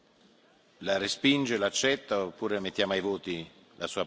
La respinge, la accetta, oppure mettiamo ai voti la sua proposta?